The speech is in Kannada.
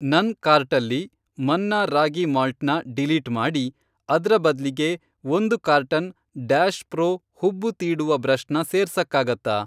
ನನ್ ಕಾರ್ಟಲ್ಲಿ ಮನ್ನಾ ರಾಗಿ ಮಾಲ್ಟ್ ನ ಡಿಲೀಟ್ ಮಾಡಿ, ಅದ್ರ ಬದ್ಲಿಗೆ ಒಂದು ಕಾರ್ಟನ್ ಡ್ಯಾಷ್ ಪ್ರೊ ಹುಬ್ಬು ತೀಡುವ ಬ್ರಷ್ ನ ಸೇರ್ಸಕ್ಕಾಗತ್ತಾ?